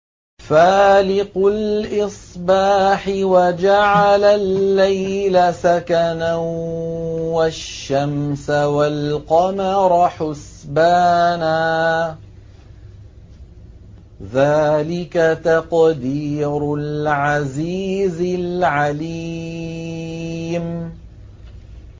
فَالِقُ الْإِصْبَاحِ وَجَعَلَ اللَّيْلَ سَكَنًا وَالشَّمْسَ وَالْقَمَرَ حُسْبَانًا ۚ ذَٰلِكَ تَقْدِيرُ الْعَزِيزِ الْعَلِيمِ